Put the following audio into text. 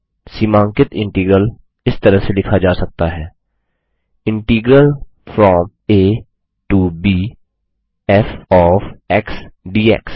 सीमांकित integral इस तरह से लिखा जा सकता है integral from a to b f of x dx